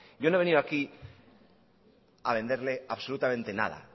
yo no he venido aquí a venderle absolutamente nada